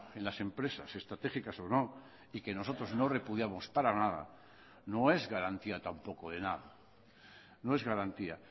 en las empresas estratégicas o no y que nosotros no repudiamos para nada no es garantía tampoco de nada no es garantía